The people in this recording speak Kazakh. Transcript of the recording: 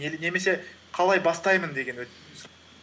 немесе қалай бастаймын деген